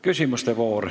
Küsimuste voor.